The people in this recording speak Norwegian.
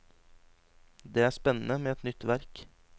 Det er spennende med et nytt verk.